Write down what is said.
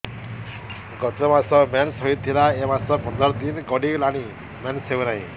ଗତ ମାସ ମେନ୍ସ ହେଇଥିଲା ଏ ମାସ ପନ୍ଦର ଦିନ ଗଡିଗଲାଣି ମେନ୍ସ ହେଉନାହିଁ